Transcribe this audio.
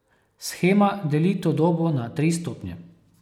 Shema deli to dobo na tri stopnje.